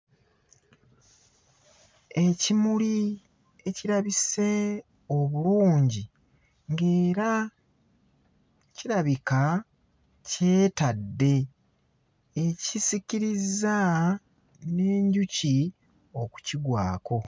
Ekimuli ekirabise obulungi ng'era kirabika kyetadde, ekisikirizza n'enjuki okukigwako.